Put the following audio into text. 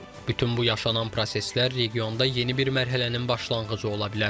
Bütün bu yaşanan proseslər regionda yeni bir mərhələnin başlanğıcı ola bilər.